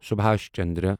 سبھاش چندرا